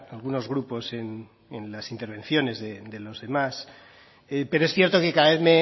algunos grupos en las intervenciones de los demás pero es cierto que cada vez